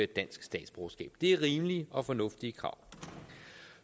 dansk statsborgerskab det er rimelige og fornuftige krav